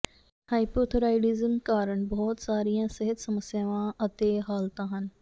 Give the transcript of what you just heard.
hypothyroidism ਕਾਰਨ ਬਹੁਤ ਸਾਰੀਆਂ ਸਿਹਤ ਸਮੱਸਿਆਵਾਂ ਅਤੇ ਹਾਲਤਾਂ ਹਨ